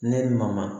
Ne ni maman